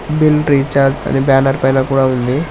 Bill recharge అని banner పైన కూడా ఉంది.